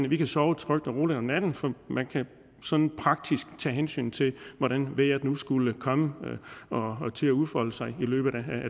vi kan sove trygt og roligt om natten for man kan sådan praktisk tage hensyn til hvordan vejret nu skulle komme til at udfolde sig i løbet af